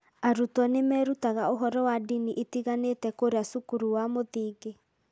Arutwo nĩ merutaga ũhoro wa ndini itiganĩte kũrĩa cukuru cia mũthingi.